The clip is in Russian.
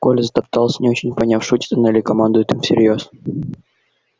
коля затоптался не очень поняв шутит она или командует им всерьёз